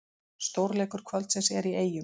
Stórleikur kvöldsins er í Eyjum